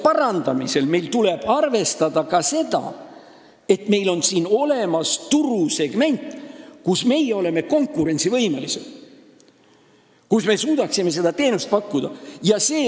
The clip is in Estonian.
... parandamisel tuleb meil arvestada ka seda, et meil on olemas üks turusegment, kus me oleme konkurentsivõimelised, kus me suudaksime teenust pakkuda.